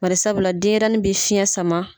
Bari sabula denyɛrɛnin bɛ fiɲɛ sama.